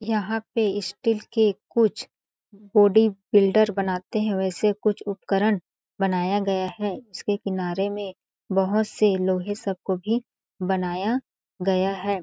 यहाँ पे स्टील के कुछ बॉडी बिल्डर बनाते है वैसे कुछ उपकरण बनाया गया है इसके किनारे में बहुत से लोहे सब को भी बनाया गया हैं।